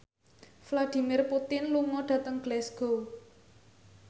Vladimir Putin lunga dhateng Glasgow